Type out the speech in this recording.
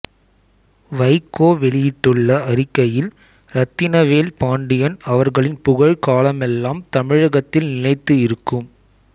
வைகோ வெளியிட்டுள்ள அறிக்கையில் இரத்தினவேல் பாண்டியன் அவர்களின் புகழ் காலமெல்லாம் தமிழகத்தில் நிலைத்து இருக்கும்